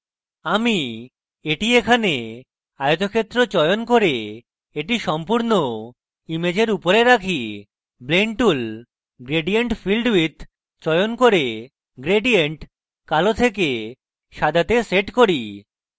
আমি এখানে এটি আয়তক্ষেত্র চয়ন করে এটি সম্পূর্ণ ইমেজের উপরে রাখি blend tool gradient filled with চয়ন করে gradient কালো থেকে সাদাতে set করি